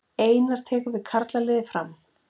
Einar tekur við karlaliði Fram